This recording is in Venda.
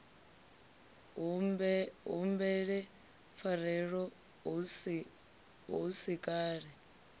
humbele pfarelo hu si kale